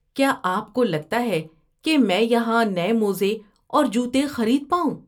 کیا آپ کو لگتا ہے کہ میں یہاں نئے موزے اور جوتے خرید پاؤں؟